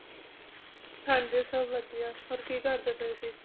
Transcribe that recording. ਹਨ ਜੀ ਸਬ ਵਾਦੇਯਾ ਹੋਰ ਕੀ ਕਰ ਦੇਣ ਪਾਏਂ ਸੇ